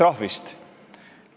Palun lisaaega!